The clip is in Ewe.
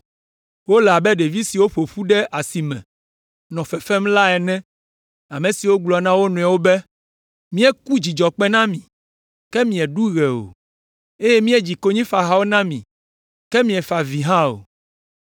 Wole abe ɖevi siwo ƒo ƒu ɖe asi me nɔ fefem la ene. Ame siwo gblɔ na wo nɔewo be, “ ‘Míeku dzidzɔkpẽ na mi, ke mieɖu ɣe o; eye míedzi konyifahawo na mi, ke miefa avi hã o.’